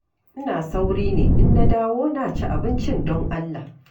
Ina sauri ne in na dawo na ci abincin don Allah.